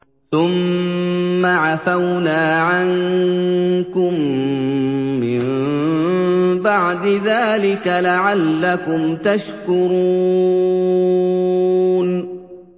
ثُمَّ عَفَوْنَا عَنكُم مِّن بَعْدِ ذَٰلِكَ لَعَلَّكُمْ تَشْكُرُونَ